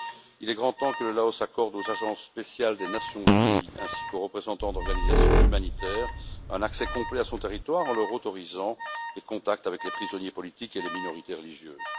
Il est grand temps que le Laos accorde aux agences spéciales des Nations unies, ainsi qu'aux représentants d'organisations humanitaires, un accès complet à son territoire en leur autorisant les contacts avec les prisonniers politiques et les minorités religieuses.